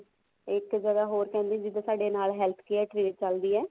ਇੱਕ ਜਗ੍ਹਾ ਹਰੋ ਕਹਿੰਦੇ ਜਿਵੇਂ ਸਾਡੇ health care clinic ਚੱਲਦੀ ਹੈ